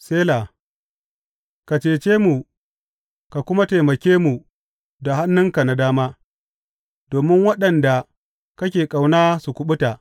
Sela Ka cece mu ka kuma taimake mu da hannunka na dama, domin waɗanda kake ƙauna su kuɓuta.